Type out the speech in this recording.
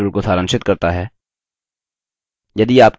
यह spoken tutorial को सारांशित करता है